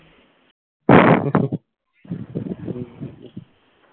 হুম